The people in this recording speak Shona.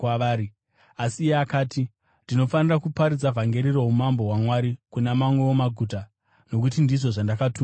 Asi iye akati, “Ndinofanira kuparidza vhangeri roumambo hwaMwari kuna mamwewo maguta, nokuti ndizvo zvandakatumirwa.”